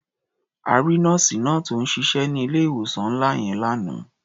A rí nọ́ọ̀sì náà tó ń ṣiṣẹ́ ní ilé-ìwòsàn ńlá yẹn lánàá.